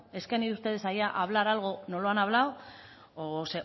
es que han ido ustedes a hablar allí algo no lo han hablado o